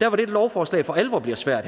der hvor dette lovforslag for alvor bliver svært